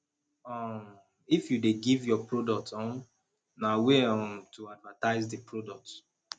um if you de give your product um na way um to advertise di product